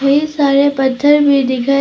ढेर सारे पत्थर भी दिखाई--